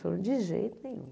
Falou, de jeito nenhum.